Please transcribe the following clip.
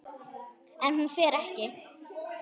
En hún fer ekki.